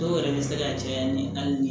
Dɔw yɛrɛ bɛ se ka caya ni hali